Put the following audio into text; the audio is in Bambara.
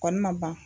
Kɔni ma ban